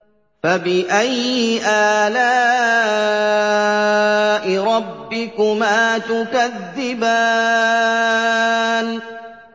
فَبِأَيِّ آلَاءِ رَبِّكُمَا تُكَذِّبَانِ